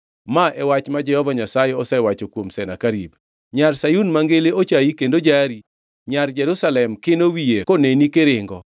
Ma e wach ma Jehova Nyasaye osewacho kuom Senakerib: “ ‘Nyar Sayun Mangili ochayi kendo jari. Nyar Jerusalem kino wiye koneni kiringo.